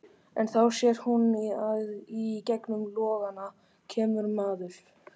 En þá sér hún að í gegnum logana kemur maður.